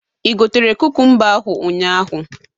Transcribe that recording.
Igotere kukumba ahụ ụnyaahụ?